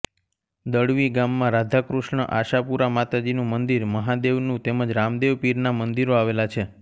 દડવી ગામમાં રાધાકૃષ્ણ આશાપુરા માતાજીનુ મંદિર મહાદેવનુ તેમજ રામદેવ પીરનાં મંદિરો આવેલા છે